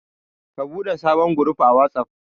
Ka ɓude sabon guruf a Watsaf.